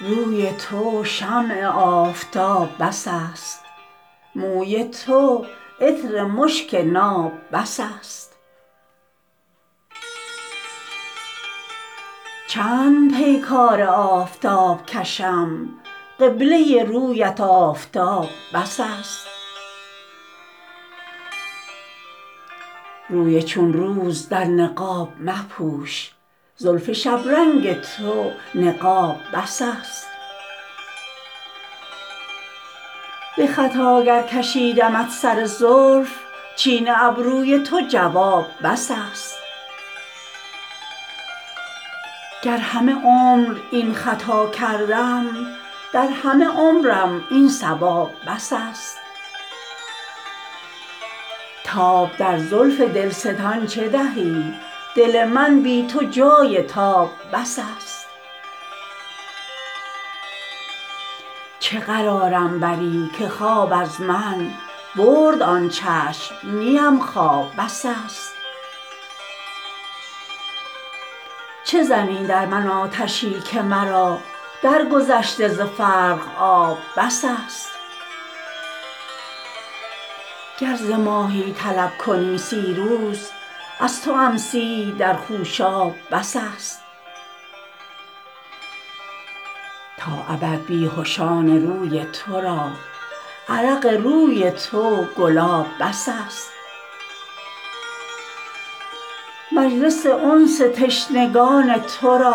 روی تو شمع آفتاب بس است موی تو عطر مشک ناب بس است چند پیکار آفتاب کشم قبله رویت آفتاب بس است روی چون روز در نقاب مپوش زلف شبرنگ تو نقاب بس است به خطا گر کشیدمت سر زلف چین ابروی تو جواب بس است گر همه عمر این خطا کردم در همه عمرم این صواب بس است تاب در زلف دلستان چه دهی دل من بی تو جای تاب بس است چه قرارم بری که خواب از من برد آن چشم نیم خواب بس است چه زنی در من آتشی که مرا در گذشته ز فرق آب بس است گر ز ماهی طلب کنی سی روز از توام سی در خوشاب بس است تا ابد بیهشان روی تو را عرق روی تو گلاب بس است مجلس انس تشنگان تو را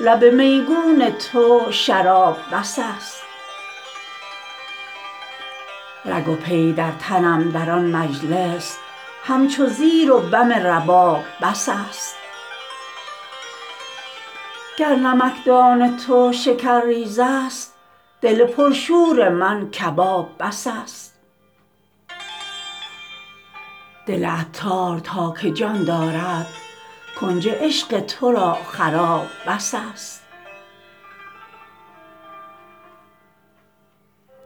لب میگون تو شراب بس است رگ و پی در تنم در آن مجلس همچو زیر و بم رباب بس است گر نمکدان تو شکر ریز است دل پر شور من کباب بس است دل عطار تا که جان دارد کنج عشق تو را خراب بس است